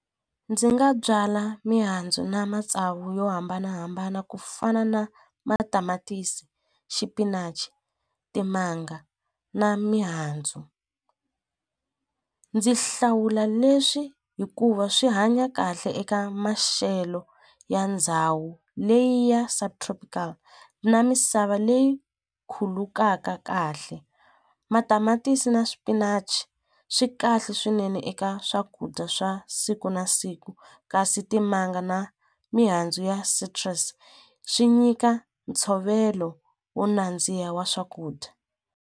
Ndzi nga byala mihandzu na matsavu yo hambanahambana ku fana na matamatisi, xipinachi, timanga na mihandzu ndzi hlawula leswi hikuva swi hanya kahle eka maxelo ya ndhawu leyi ya subtropical na misava leyi khulukaka kahle matamatisi na swipinachi swi kahle swinene eka swakudya swa siku na siku kasi timanga na mihandzu ya swi nyika ntshovelo wo nandziha wa swakudya.